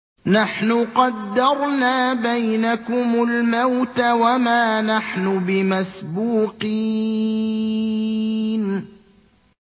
نَحْنُ قَدَّرْنَا بَيْنَكُمُ الْمَوْتَ وَمَا نَحْنُ بِمَسْبُوقِينَ